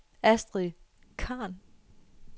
Astrid Khan